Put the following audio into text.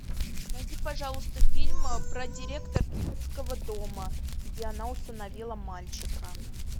найди пожалуйста фильм про директора детского дома где она усыновила мальчика